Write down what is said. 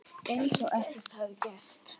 Eins og ekkert hefði gerst.